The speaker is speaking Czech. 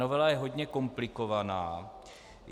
Novela je hodně komplikovaná.